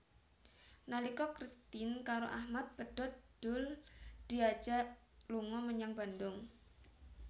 Nalika Kristin karo Achmad pedhot Doel diajak lunga menyang Bandung